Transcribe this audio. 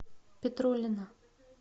петролина